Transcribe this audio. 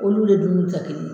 Olu de b'u jate.